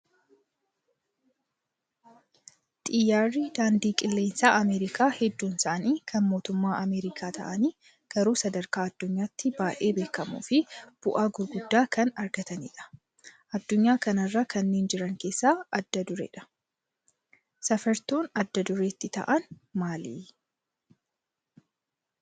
Xiyyaarri daandii qilleensaa Ameerikaa hedduun isaanii kan mootummaa Ameerikaa ta'anii garuu sadarkaa addunyaatti baay'ee beekamoo fi bu'aa gurguddaa kan argatanidha. Addunyaa kanarra kanneen jiran keessaa adda dureedha. Safartoon adda duree ittiin ta'an maali?